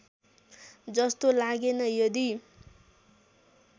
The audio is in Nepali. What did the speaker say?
जस्तो लागेन यदि